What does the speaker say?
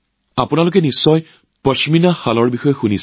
আপোনালোকে নিশ্চয় পশ্মিনা চাদৰৰ কথা শুনিছে